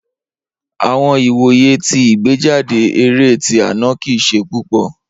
Awọn iwoye ti igbejade eré ti ana kii ṣe pupọ.